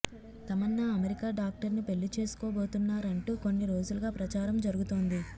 Tamannaah America doctor ను పెళ్లి చేసుకోబోతున్నారంటూ కొన్ని రోజులుగా ప్రచారం జరుగుతోంది